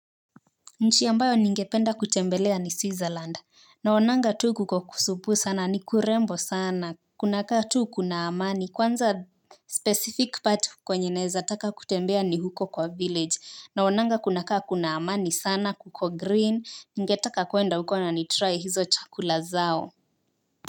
Nchi ambayo ningependa kutembelea ni Switzerland, naonanga tu kukokusupuu sana ni kurembo sana, kuna kaa tu kuna amani, kwanza specific part kwenye naeza taka kutembea ni huko kwa village, naonanga kunakaa kuna amani sana kuko green, ningetaka kuenda huko na nitry hizo chakula zao.